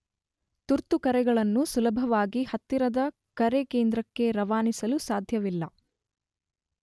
ತುರ್ತು ಕರೆಗಳನ್ನು ಸುಲಭವಾಗಿ ಹತ್ತಿರದ ಕರೆಕೇಂದ್ರಕ್ಕೆ ರವಾನಿಸಲು ಸಾಧ್ಯವಿಲ್ಲ.